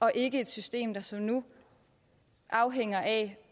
og ikke et system hvor som nu afhænger af